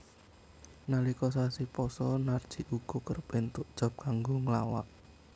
Nalika sasi pasa Narji uga kerep entuk job kanggo nglawak